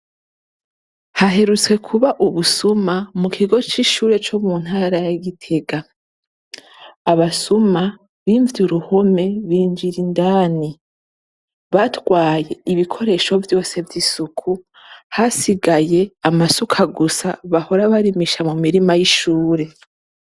Haherutse kuba ubusuma mu kigo c'ishure co mu ntara ya Gitega. Abasuma bimvye uruhome binjira indani, batwaye ibikoresho vyose vy'isuku, hasigaye amasuka gusa bahora barimisha mu mirima y'ishure.